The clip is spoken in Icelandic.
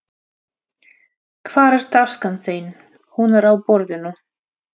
Hvar er taskan þín. Hún er á borðinu